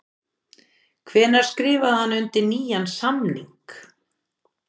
Hvenær skrifaði hann undir nýjan samning?